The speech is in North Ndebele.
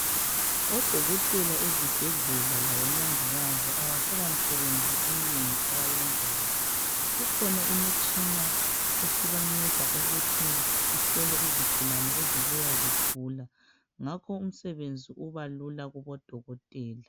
Odokotela ezibhedlela labomongikazi abasela misebenzi eminengi abayenzayo kukhona imitshina esibanceda ukuthi ihlole izigulane ezibuya zigula ngakho umsebenzi ubalula kubodokotela